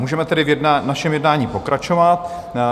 Můžeme tedy v našem jednání pokračovat.